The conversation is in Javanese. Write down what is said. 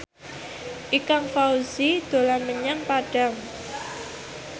Ikang Fawzi dolan menyang Padang